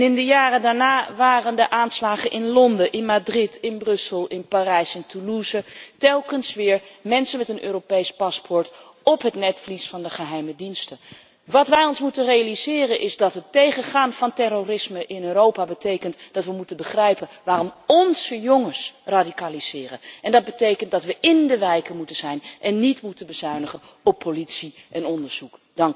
En in de jaren daarna waren er de aanslagen in Londen, in Madrid, in Brussel, in Parijs en Toulouse, telkens weer mensen met een Europees paspoort op het netvlies van de geheime diensten. Wat wij ons moeten realiseren is dat het tegengaan van terrorisme in Europa betekent dat we moeten begrijpen waarom onze jongens radicaliseren en dat betekent dat we in de wijken moeten zijn en niet moeten bezuinigen op politie en onderzoek.